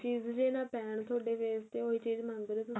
ਵੀ ਨਾ ਪੈਣ ਤੁਹਾਡੇ face ਤੇ ਉਹੀ ਚੀਜ ਮੰਗ ਰਹੇ ਹੋ ਤੁਸੀਂ